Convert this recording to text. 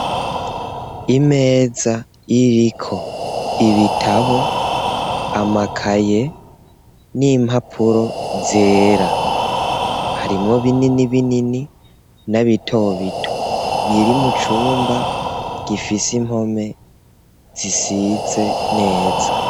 Imeza iriko ibitabo, amakaye n'impapuro zera. Harimwo binini binini n'abito bito biri mu cumba gifise impome zisize neza.